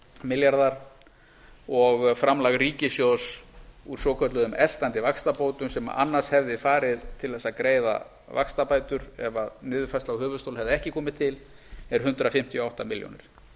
milljarðar og framlag ríkissjóðs úr svokölluðum eltandi vaxtabótum sem annars hefði farið til þess að greiða vaxtabætur ef niðurfærsla á höfuðstól hefði ekki komið til er hundrað fimmtíu og átta milljónir